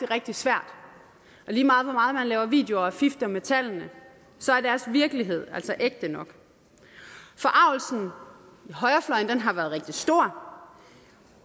rigtig svært og lige meget hvor meget man laver videoer og fifler med tallene så er deres virkelighed altså ægte nok forargelsen i højrefløjen har været rigtig stor